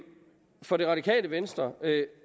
for det radikale venstre er det